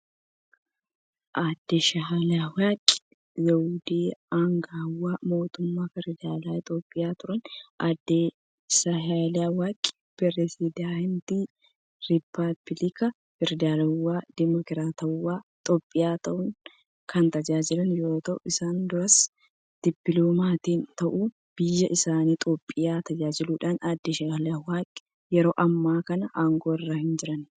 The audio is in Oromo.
Aaddee Saahilawarq Zawudee, aangawa mootummaa federaalaa Itoophiyaa turan. Aaddee Sahilawarq pireezidantii rippaabilika federaalawaa demokiraatawaa Itoophiyaa ta'uun kan tajaajilan yoo ta'u, isa duras dippiloomaatii ta'uun biyya isaanii Itoophiyaa tajaajilaniiru. Aaadde Saahilawarq yeroo ammaa kana aangoo irra hin jiran.